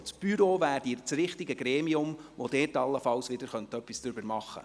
Denn das Büro ist das richtige Gremium, um allenfalls etwas zu ändern.